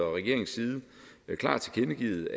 og regeringens side klart tilkendegivet